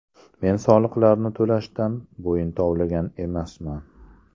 Men soliqlarni to‘lashdan bo‘yin tovlagan emasman.